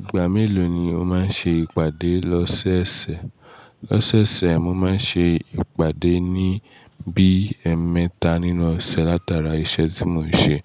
Ìgbà mélòó ni o máa ń ṣe ìpàdé lọ́sẹ̀ẹ̀sẹ̀? Lọ́sẹ̀ẹ̀sẹ̀, mo máa ń ṣe ìpàdé ní bí ẹmẹta nínú ọ̀sẹ̀ látara iṣẹ́ tí mo ń ṣe.